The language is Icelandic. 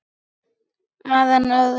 Að enn öðru.